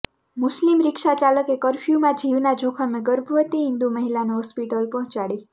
મુસ્લિમ રિક્ષા ચાલકે કરફ્યુમાં જીવના જોખમે ગર્ભવતી હિન્દુ મહિલાને હોસ્પિટલ પહોંચાડી